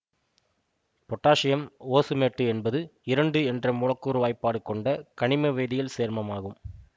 potassium osmate என்பது இரண்டு என்ற மூலக்கூறு வாய்ப்பாடு கொண்ட கனிம வேதியல் சேர்மம் ஆகும்